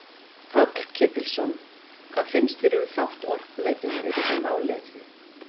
Páll Ketilsson: Hvað finnst þér um þátt Orkuveitunnar í þessu máli öllu?